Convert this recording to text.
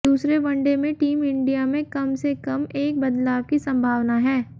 दूसरे वनडे में team India में कम से कम एक बदलाव की संभावना है